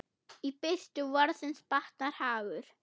Í birtu vorsins batnar hagur.